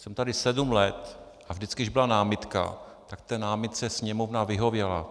Jsem tady sedm let, a vždycky když byla námitka, tak té námitce Sněmovna vyhověla.